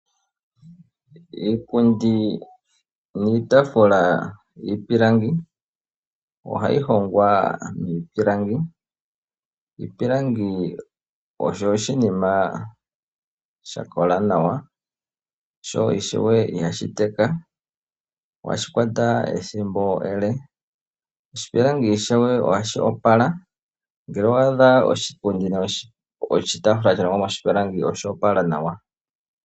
Iipundi niitafula ohayi hongwa miipilangi. Iipilangi oyo iinima yakola yo ihayi teka, ohayi kwata ethimbo ele yo ohayi opala. Ngele owaadha oshitaafula nenge oshipundi shalongwa moshipilangi ohashi kala shoopala.